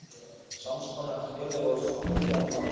Sams konar félög voru stofnuð víða um land.